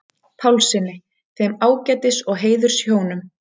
Pálssyni, þeim ágætis- og heiðurshjónum.